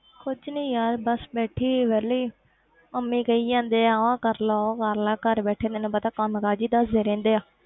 ਕੁਛ ਨੀ ਯਾਰ ਬਸ ਬੈਠੀ ਸੀ ਵਿਹਲੀ ਮੰਮੀ ਕਹੀ ਜਾਂਦੇ ਆ ਉਹ ਕਰ ਲਾ ਉਹ ਕਰ ਲਾ ਘਰ ਬੈਠੇ ਤੈਨੂੰ ਪਤਾ ਕੰਮ ਕਾਜ ਹੀ ਦੱਸਦੇ ਰਹਿੰਦੇ ਆ।